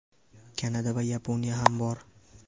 Kanada va Yaponiya ham bor.